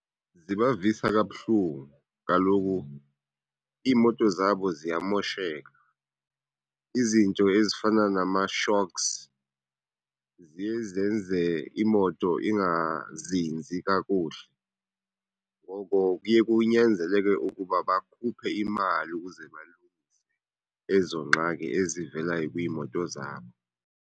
Zibavisa kabuhlungu, kaloku iimoto zabo ziyamosheka. Izinto ezifana nama-shocks ziye zenze imoto ingazinzi kakuhle ngoko kuye kunyanzeleke ukuba bakhuphe imali ukuze balungise ezo nqxaki ezivelayo kwiimoto zabo.